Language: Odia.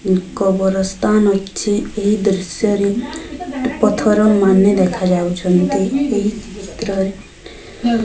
କବର ସ୍ଥାନ ଅଛି ଏହି ଦୃଶ୍ୟରେ ପଥର ମାନେ ଦେଖାଯାଉଛନ୍ତି ଏହି ଚିତ୍ରରେ।